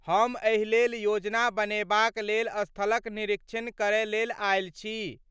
हम एहि लेल योजना बनेबाक लेल स्थलक निरीक्षण करय लेल आयल छी।